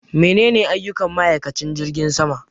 Menene aiyukan ma'aikanci jirgin sama